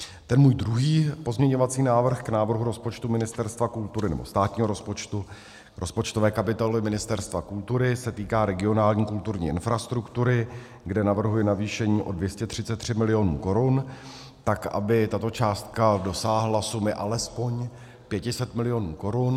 Ten můj druhý pozměňovací návrh k návrhu rozpočtu Ministerstva kultury, nebo státního rozpočtu, rozpočtové kapitoly Ministerstva kultury, se týká regionální kulturní infrastruktury, kde navrhuji navýšení o 233 milionů korun, tak aby tato částka dosáhla sumy alespoň 500 milionů korun.